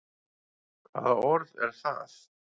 Hvaða orð er það?